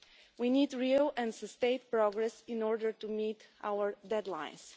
We need real and sustained progress in order to meet our deadlines.